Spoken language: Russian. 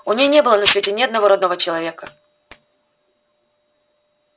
у ней не было на свете ни одного родного человека